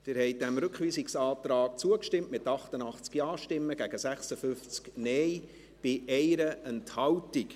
Sie haben diesem Rückweisungsantrag zugestimmt, mit 88 Ja- gegen 56 Nein-Stimmen bei 1 Enthaltung.